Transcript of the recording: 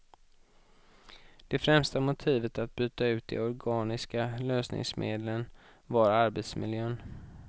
Det främsta motivet att byta ut de organiska lösningsmedlen var arbetsmiljön.